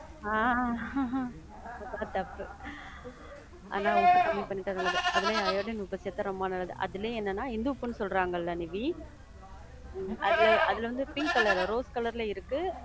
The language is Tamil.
ஆஹ் அதான் தப்பு. ஆனா உப்பு கம்மி பண்ணிட்டா நல்லது. அதுலையே அயோடின் உப்பு சேத்தா ரொம்ப நல்லது. அதுலயும் என்னனா இந்துப்புன்னு சொல்றாங்கல நிவி, உம் அதுல, அதுல வந்து பிங்க் colour ரோஸ் colour ல இருக்கு,